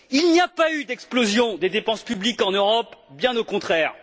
Il n'y a pas eu d'explosion des dépenses publiques en Europe, bien au contraire.